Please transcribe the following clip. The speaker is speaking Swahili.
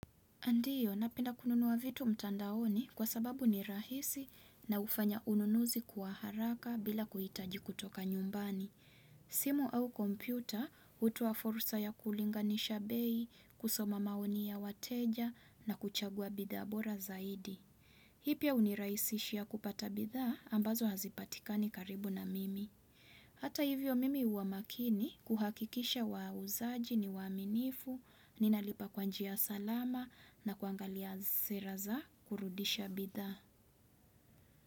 Ndiyo napenda kununua vitu mtandaoni kwa sababu ni rahisi na hufanya ununuzi kwa haraka bila kuhitaji kutoka nyumbani. Simu au kompyuta, hutoa fursa ya kulinganisha bei, kusoma maoni ya wateja na kuchagua bidhaa bora zaidi. Hii pia unirahisishia kupata bidhaa ambazo hazipatikani karibu na mimi. Hata hivyo mimi hua makini kuhakikisha wauzaji ni waaminifu, ninalipa kwa njia ya salama na kuangalia sera za kurudisha bidhaa.